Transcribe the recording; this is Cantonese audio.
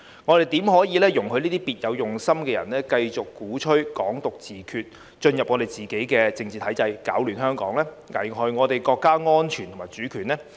我們怎能容許這些別有用心的人繼續鼓吹"港獨"自決，進入自己的政治體制，攪亂香港，危害國家安全及主權呢？